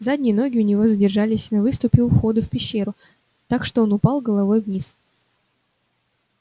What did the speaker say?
задние ноги у него задержались на выступе у входа в пещеру так что он упал головой вниз